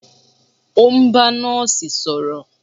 O n bá Nọ́ọ̀sì sọ̀rọ̀.